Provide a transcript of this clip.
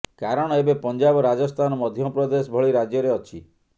କାରଣ ଏବେ ପଞ୍ଜାବ ରାଜସ୍ଥାନ ମଧ୍ୟପ୍ରଦେଶ ଭଳି ରାଜ୍ୟରେ ଅଛି